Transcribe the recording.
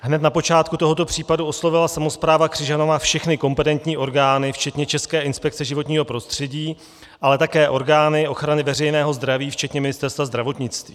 Hned na počátku tohoto případu oslovila samospráva Křižanova všechny kompetentní orgány včetně České inspekce životního prostředí, ale také orgány ochrany veřejného zdraví včetně Ministerstva zdravotnictví.